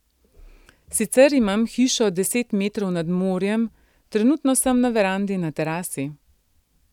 Sicer imam hišo deset metrov nad morjem, trenutno sem na verandi na terasi.